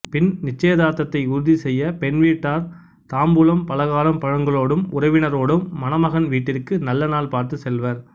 பின் நிச்சயதார்த்தத்தை உறுதிசெய்யப் பெண்வீட்டார் தாம்பூலம் பலகாரம் பழங்களோடும் உறவினரோடும் மணமகன் வீட்டிற்கு நல்ல நாள் பார்த்துச் செல்வர்